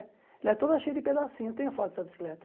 Ela é toda cheia de pedacinho, eu tenho foto dessa bicicleta.